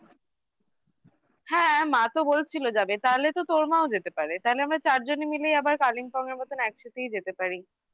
হ্যাঁ মা তো বলছিল যাবে তাহলে তো তোর মাও যেতে পারে তাহলে আমরা চারজনে মিলেই আবার Kalimpong এর মতন একসাথেই যেতে পারি